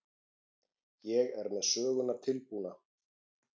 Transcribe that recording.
Ég er með söguna tilbúna.